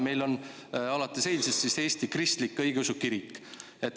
Meil on alates eilsest Eesti Kristlik Õigeusu Kirik.